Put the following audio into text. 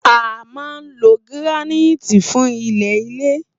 a má ló giraniti fún ilele